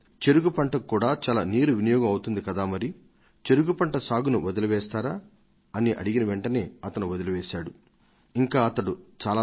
చెరకు పంట సేద్యానికి బోలెడంత నీరు కావలసి వస్తుందని గ్రహించారు కాబట్టి ఆ పంటను వేయవద్దని వారు అనుకొని అదే ఆలోచనను అమలులో పెట్టారు